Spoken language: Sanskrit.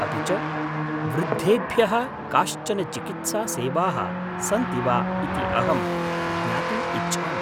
अपि च, वृद्धेभ्यः काश्चन चिकित्सासेवाः सन्ति वा इति अहं ज्ञातुम् इच्छामि?